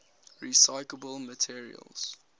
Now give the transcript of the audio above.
recyclable materials